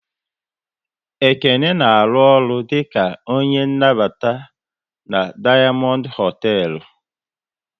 Ekene na arụ ọrụ dịka onye nnabata na Dayamondu hotel